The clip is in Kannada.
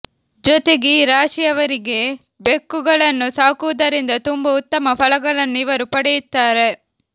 ಜೊತೆಗೆ ಈ ರಾಶಿಯವರಿಗೆ ಬೆಕ್ಕುಗಳನ್ನು ಸಾಕುವುದರಿಂದ ತುಂಬಾ ಉತ್ತಮ ಫಲಗಳನ್ನು ಇವರು ಪಡೆಯುತ್ತಾರೆ